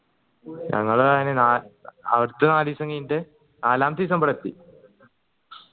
ഞങ്ങൾ നാല് ദിവസം കഴിഞ്ഞിട്ട് നാലാമത്തെ ദിവസം ഇവിടെ എത്തി